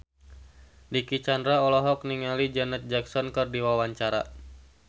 Dicky Chandra olohok ningali Janet Jackson keur diwawancara